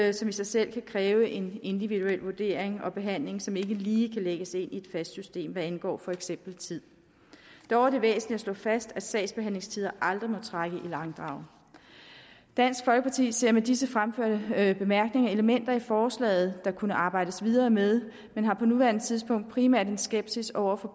i sig selv kan kræve en individuel vurdering og behandling som ikke lige kan lægges ind i et fast system hvad angår for eksempel tid dog er det væsentligt at slå fast at sagsbehandlingstider aldrig må trække i langdrag dansk folkeparti ser med disse fremførte bemærkninger elementer i forslaget der kunne arbejdes videre med men har på nuværende tidspunkt primært en skepsis over for